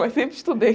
Mas sempre estudei.